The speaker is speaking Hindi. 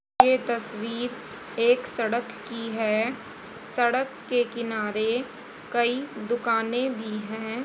ये तस्वीर एक सड़क की है सड़क के किनारे कई दुकानें भी है।